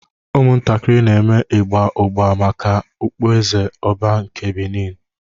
Ụmụntakịrị na-eme ịgba ụgba maka okpueze Oba nke Beni.